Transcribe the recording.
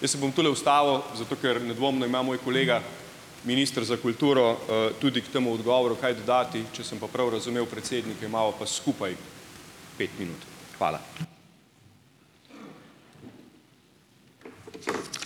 Jaz se bom tule ustavil, zato ker nedvomno ima moj kolega, minister za kulturo, tudi k temu odgovoru kaj dodati, če sem pa prav razumel predsednike, imava pa skupaj pet minut. Hvala.